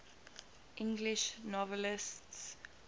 english novelists